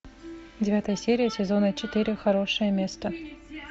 девятая серия сезона четыре хорошее место